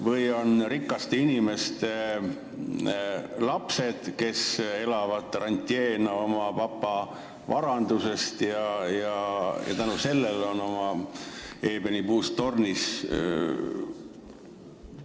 Või on nad rikaste inimeste lapsed, kes elavad rantjeena oma papa varandusest ja istuvad tänu sellele oma eebenipuust tornis?